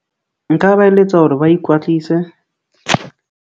Nka ba eletsa hore ba ikwatlise.